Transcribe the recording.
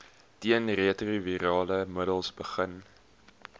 teenretrovirale middels begin